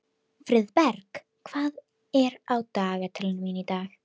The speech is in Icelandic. Friðberg, hvað er á dagatalinu mínu í dag?